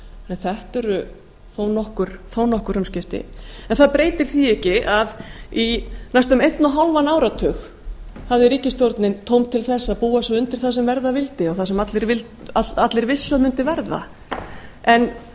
en þetta eru þó nokkur umskipti en það breytir því ekki að í næstum einn og hálfan áratug hafði ríkisstjórnin tóm til þess að búa sig undir það sem verða vildi og það sem allir vissu að mundi verða en ríkisstjórnin